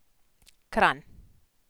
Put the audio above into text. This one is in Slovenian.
Kranj.